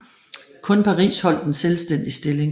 Kun Paris holdt en selvstændig stilling